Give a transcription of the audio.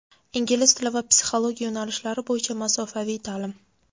Ingliz tili va psixologiya yo‘nalishlari bo‘yicha masofaviy ta’lim!.